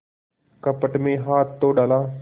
कपट में हाथ तो डाला